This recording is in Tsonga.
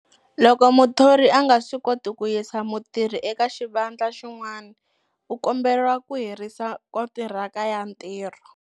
Loko muthori a nga swi koti ku yisa mutirhi eka xivandla xin'wani, u komberiwa ku herisa kontiraka ya ntirho.